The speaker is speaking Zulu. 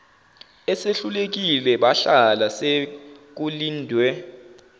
esehlulekile bahlala sekulindwe